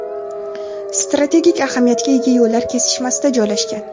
strategik ahamiyatga ega yo‘llar kesishmasida joylashgan.